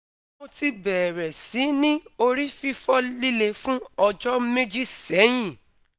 Mo ti beere si ni ori fifo lile fun ojo meji sehin